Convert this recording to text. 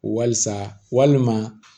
Walisa walima